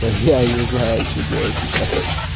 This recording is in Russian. я не знаю что делать сейчас